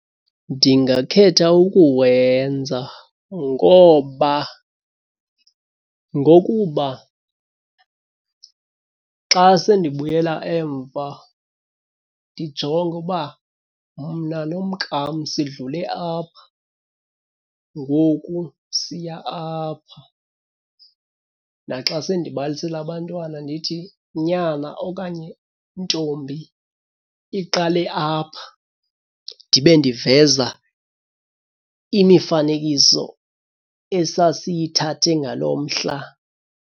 Ndingakhetha ukuwenza ngoba ngokuba xa sendibuyela emva ndijonge uba mna nomnkam sidlule apha ngoku siya apha. Naxa sendibalisela abantwana ndithi nyana okanye ntombi iqale apha ndibe ndiveza imifanekiso esasiyithathe ngaloo mhla.